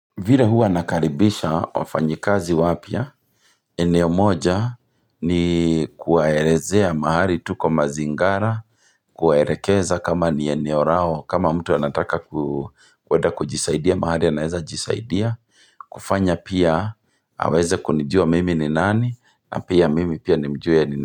Vile hua nakaribisha wafanyikazi wapya. Eneo moja ni kuwaelezea mahali tuko mazingara. Kuwaelekeza kama ni eneo lao. Kama mtu anataka kwenda kujisaidia mahali anaweza jisaidia. Kufanya pia aweze kunijua mimi ni nani. Na pia mimi pia nimjue ni nini.